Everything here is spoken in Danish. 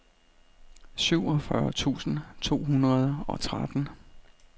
syvogfyrre tusind to hundrede og tretten